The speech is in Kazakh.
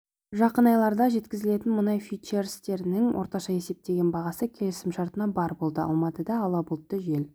жақын айларда жеткізілетін мұнай фьючерстерінің орташа есептеген бағасы келісімшартына бар болды алматыда да ала бұлтты жел